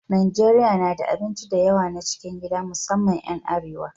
Najeriya na da abinci da yawa na cikin gida musamman 'yan arewa.